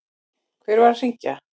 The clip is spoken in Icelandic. Hver var að hringja?